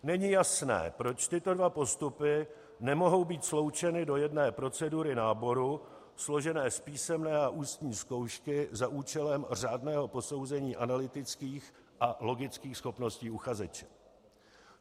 Není jasné, proč tyto dva postupy nemohou být sloučeny do jedné procedury náboru, složené z písemné a ústní zkoušky za účelem řádného posouzení analytických a logických schopností uchazeče.